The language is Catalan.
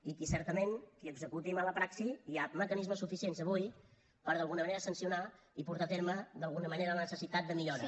i qui certament executi mala praxi hi ha mecanismes suficients avui per d’alguna manera sancionar i portar a terme d’alguna manera la necessitat de millora